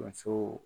Musow